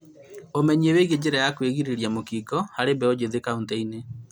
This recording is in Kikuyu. Ũmenyo wĩĩgiĩ njĩra cia kũgirĩrĩria mũkingo harĩ mbeũ njĩthĩ kauntĩ-inĩ